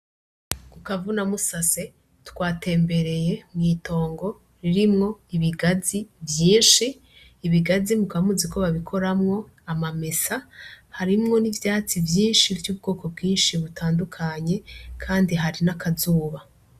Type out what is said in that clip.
Ku kavunamusase twatembereye mw'itongo ririmwo ibigazi vyinshi, ibigazi mukaba muzi ko babikoramwo amamesa harimwo n'ivyatsi vyinshi vy'ubwoko bwinshi butandukanye kandi hari n'akazuba.